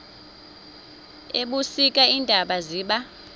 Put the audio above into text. ebusika iintaba ziba